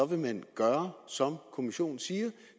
vil man gøre som kommissionen siger